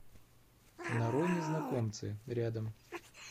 нарой незнакомцы рядом